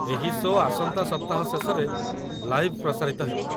ଏହି ଶୋ' ଆସନ୍ତା ସପ୍ତାହ ଶେଷରେ ଲାଇଭ୍ ପ୍ରସାରିତ ହେବ।